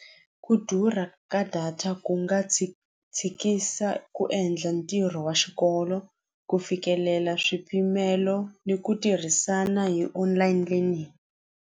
Ku durha ka data ku nga tshikisa ku endla ntirho wa xikolo ku fikelela swipimelo ni ku tirhisana hi online learning.